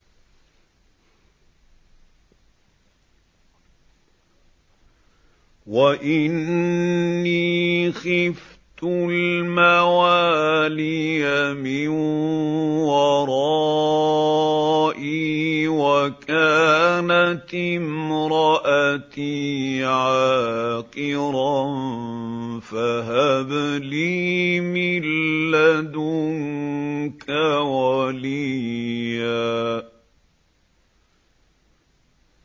وَإِنِّي خِفْتُ الْمَوَالِيَ مِن وَرَائِي وَكَانَتِ امْرَأَتِي عَاقِرًا فَهَبْ لِي مِن لَّدُنكَ وَلِيًّا